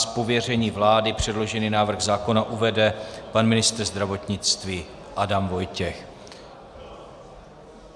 Z pověření vlády předložený návrh zákona uvede pan ministr zdravotnictví Adam Vojtěch.